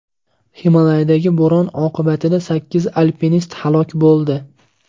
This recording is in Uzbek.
Himolaydagi bo‘ron oqibatida sakkiz alpinist halok bo‘ldi.